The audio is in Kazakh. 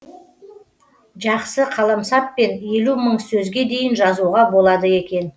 жақсы қаламсаппен елу мың сөзге дейін жазуға болады екен